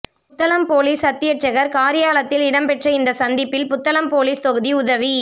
Puttalam police அத்தியட்சகர் காரியாலயத்தில் இடம்பெற்ற இந்த சந்திப்பில் புத்தளம் பொலிஸ் தொகுதி உதவி